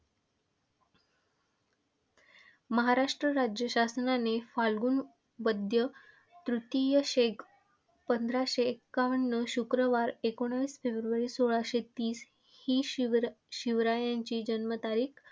महाराष्ट्र राज्य शासनाने फाल्गुन वद्य तृतीय शके पंधराशे एकावन्न शुक्रवार एकोणीस फेब्रुवारी सोळाशे तीस ही शिवरशिवरायांची जन्मतारीख.